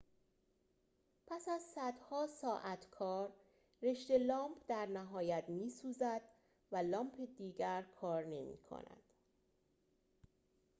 پس از صدها ساعت کار رشته لامپ در نهایت می‌سوزد و لامپ دیگر کار نمی‌کند